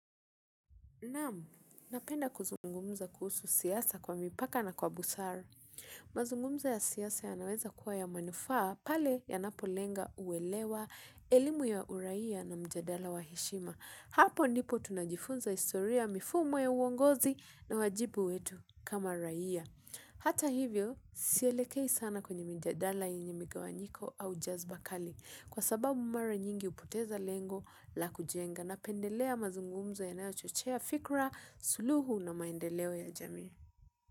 Naam, napenda kuzungumza kuhusu siasa kwa mipaka na kwa busaru. Mazungumzo ya siasa yanaweza kuwa ya manufaa pale yanapolenga uelewa, elimu ya uraia na matazamo wa heshima hapo ndipo tunajifunza historia ya mifumo ya uongozi na wajibu wetu kama raia. Hata hivyo, sielekei sana kwenye mjadala yenye migawanyiko au jazba kali. Kwa sababu mara nyingi hupoteza lengo la kujenga napendelea mazungumzo yanayochochea fikra, suluhu na maendeleo ya jamii.